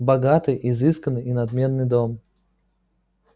богатый изысканный и надменный дом